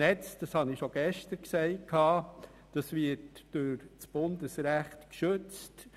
Das Netz wird durch Bundesrecht geschützt.